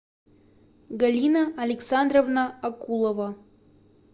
галина александровна акулова